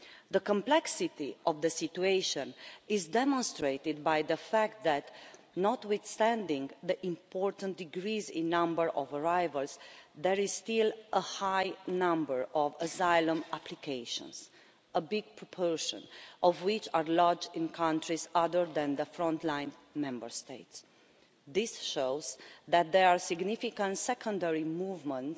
The complexity of the situation is demonstrated by the fact that, notwithstanding the important decrease in the number of arrivals, there is still a high number of asylum applications, a big proportion of which are lodged in countries other than the frontline Member States. This shows that there are significant secondary movements